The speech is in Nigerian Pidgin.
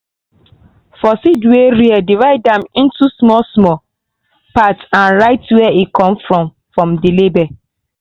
for seed wey rare divide am into small-small parts and write where e from come for the label.